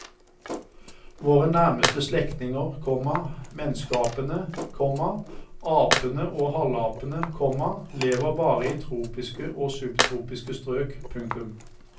Våre nærmeste slektninger, komma menneskeapene, komma apene og halvapene, komma lever bare i tropiske og subtropiske strøk. punktum